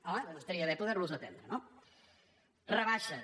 home doncs estaria bé poder los atendre no rebaixes